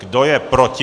Kdo je proti?